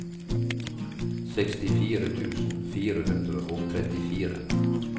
sekstifire tusen fire hundre og trettifire